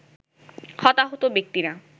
হতাহত ব্যাক্তিরা